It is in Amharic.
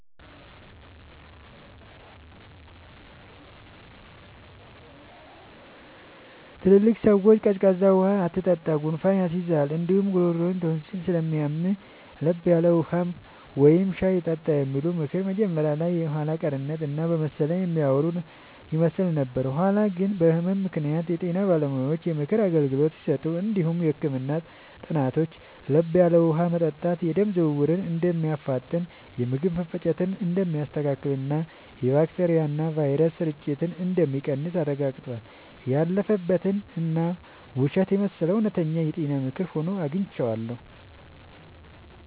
ትላልቅ ሰዎች “ቀዝቃዛ ውሃ አትጠጣ፣ ጉንፋን ይይዝሃል እንዲሁም ጉሮሮህን ቶንሲል ስለሚያምህ፤ ለብ ያለ ውሃ ወይም ሻይ ጠጣ” የሚሉት ምክር መጀመሪያ ላይ የኋላ ቀርነት እና በመሰለኝ የሚያወሩ ይመስል ነበር። በኋላ ግን በህመም ምክንያት የጤና ባለሙያዎች የምክር አገልግሎት ሲሰጡ እንዲሁም የህክምና ጥናቶች ለብ ያለ ውሃ መጠጣት የደም ዝውውርን እንደሚያፋጥን፣ የምግብ መፈጨትን እንደሚያስተካክልና የባክቴሪያና ቫይረስ ስርጭትን እንደሚቀንስ አረጋግጠዋል። ያለፈበት እና ውሸት የመሰለው እውነተኛ የጤና ምክር ሆኖ አግኝቼዋለሁ።